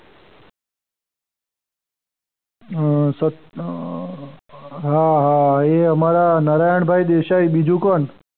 અમ અર હા હા એ અમારા નારાયણભાઈ દેસાઈ બીજું કોણ!